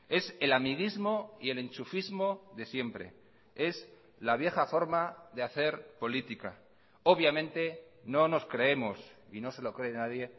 es el amiguismo y el enchufismo de siempre es la vieja forma de hacer política obviamente no nos creemos y no se lo cree nadie